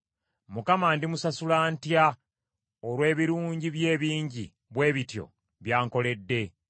Mukama ndimusasula ntya olw’ebirungi bye ebingi bwe bityo by’ankoledde?